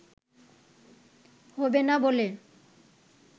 হবে না বলে